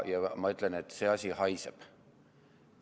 Ma ütlen, et see asi haiseb.